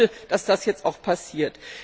Ich möchte, dass das jetzt auch passiert.